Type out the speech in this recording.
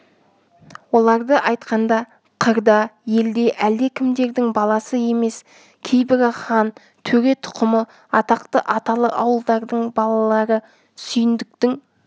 оларды айтқанда қырда елде әлдекімдердің баласы емес кейбірі хан төре тұқымы атақты аталы ауылдардың балалары сүйіндіктің